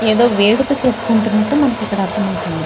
ఏదో వేడుక చేసుకుంటున్నట్టు మనకి ఇక్కడ అర్థమవుతుంది.